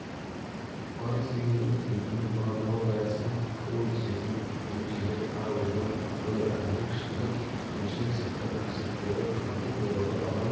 парыз дегеніміз өзінің мағыналық аясына ақыл-ой сезім ерік-жігер ар-ождан абырой әділдік шындық сүйіспеншілік сияқты қасиеттерді қамтып оларды адам